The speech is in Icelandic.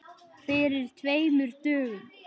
Fyrir tveimur dögum?